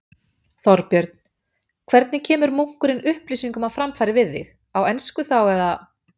Þorbjörn: Hvernig kemur munkurinn upplýsingum á framfæri við þig, á ensku þá, eða?